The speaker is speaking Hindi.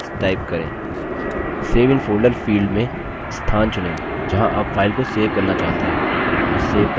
save in folder field में स्थान चुनें जहाँ आप file को सेव करना चाहते हैं और सेव पर click करें